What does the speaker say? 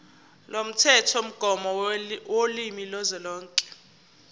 lomthethomgomo wolimi kazwelonke